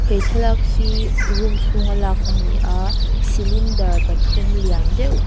he thlalak hi room chhungah lak a ni a cylinder pathum lian deuh--